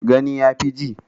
Gani ya fi ji